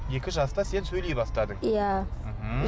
екі жаста сен сөйлей бастадың иә